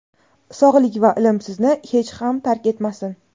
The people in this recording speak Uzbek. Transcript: sog‘lik va ilm sizni hech ham tark etmasin.